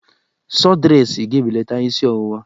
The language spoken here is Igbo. Sọdresị ga-ebelata isi ọwụwa